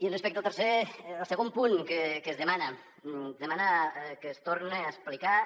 i respecte al segon punt que es demana que es torne a explicar